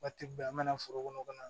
Waati bɛɛ an mɛna foro kɔnɔ ka na